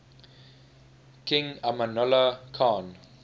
king amanullah khan